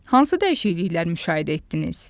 Hansı dəyişikliklər müşahidə etdiniz?